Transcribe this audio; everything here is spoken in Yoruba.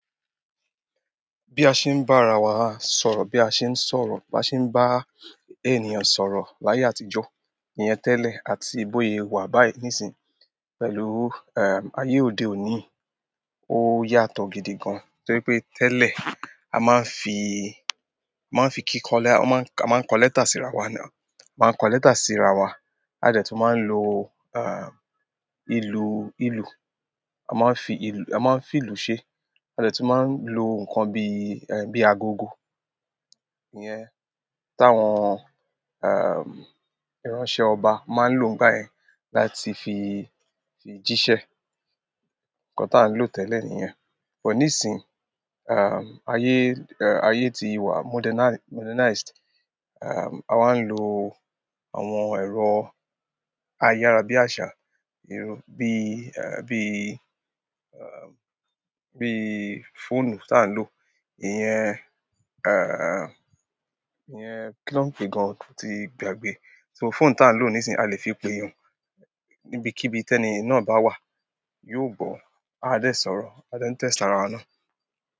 Bí a ṣe ń bá ara wa sọ̀rọ̀, bí a ṣe ń sọ̀rọ̀, bá ṣe ń bá ènìyàn sọ̀rọ̀ láyé àtijọ́, ìyẹn tẹ́lẹ̀ àti bóye wà báyìí níìsín pẹ̀lú, ehn, ayé òde òní, ó yàtọ̀ gidi gan. Torí pé tẹ́lẹ̀, a máa ń fi, máa ń fi kíkọlé, a máa ń kọ lẹ́tà sí ara wa ná. A máa ń kọ lẹ́tà sí ara wa. A dẹ tún máa ń lo, ehn, ìlù, ìlù. A máa ń fi ìlù, a máa ń fi ìlù ṣe. A dẹ tún máa ń lo nǹkan bí, ehn, bí agogo. Ìyẹn táwọn, ehn, ìránṣẹ́ ọba máa ń lò nígbà yẹn láti fi, fi jíṣẹ́. Ǹkan tá a ń lò tẹ́lẹ̀ nìyẹn. Bọ̀ níìsín, ehn, ayé, ayé ti wà modernized, ehn, a máa ń lo àwọn ẹ̀rọ ayárabíàṣá, irú bí, ehn, bí, ehn, bí fóònù tá a ń lò. Ìyẹn, ehn, ìyẹn kí lọ̀ ń pẹ́ gan mo tí gbagbé. So fóònù tá a ń lò níìsín a le fi pe èèyàn níbí kí bí tẹ́ní náà bá wà, yóò gbọ̀. A dẹ́ sọ̀rọ̀, a dẹ́ ń text ara wa ná.